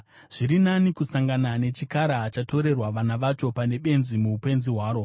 Zviri nani kusangana nechikara chatorerwa vana vacho pane benzi muupenzi hwaro.